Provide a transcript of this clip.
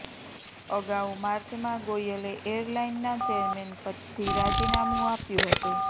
અગાઉ માર્ચમાં ગોયલે એરલાઈનના ચેરમેન પદથી રાજીનામું આપ્યુ હતુ